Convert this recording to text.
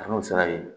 A n'o sera yen